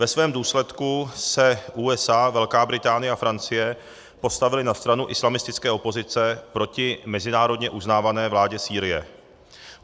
Ve svém důsledku se USA, Velká Británie a Francie postavily na stranu islamistické opozice proti mezinárodně uznávané vládě Sýrie.